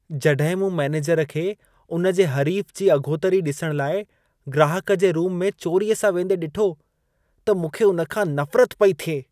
जॾहिं मूं मैनेजर खे, उन जे हरीफ जी अघोतरी ॾिसण लाइ ग्राहक जे रूम में चोरीअ सां वेंदे ॾिठो, त मूंखे हुन खां नफरत पई थिए।